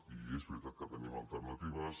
i és veritat que tenim alternatives